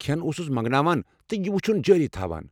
کھٮ۪ن اوسُس منگناوان تہٕ یہِ وُچھُن جٲری تھوان۔